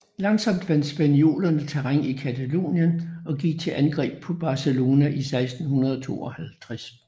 Langsomt vandt spaniolerne terræn i Catalonien og gik til angreb på Barcelona i 1652